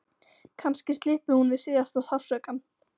Kannski slyppi hún við síðasta sársaukann.